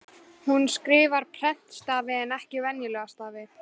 Hún skrifar prentstafi en ekki venjulega skrifstafi.